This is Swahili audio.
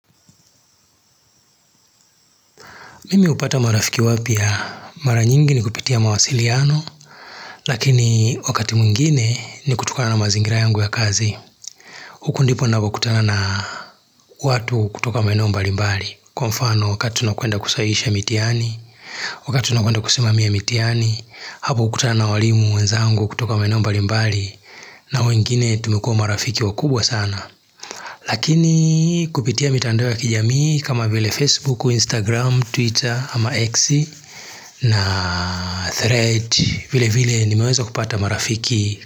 Mimi hupata marafiki wapya, mara nyingi ni kupitia mawasiliano, lakini wakati mwingine ni kutokana na mazingira yangu ya kazi. Huku ndipo napokutana na watu kutoka maeneo mbali mbali, kwa mfano wakati tunakwenda kusahihisha mitihani, wakati tunakwenda kusimamia mitihani, hapo hukutana na walimu wenzangu kutoka maeneo mbali mbali, na wengine tumekuwa marafiki wakubwa sana. Lakini kupitia mitandao ya kijamii kama vile Facebook, Instagram, Twitter ama x na thread vile vile nimeweza kupata marafiki.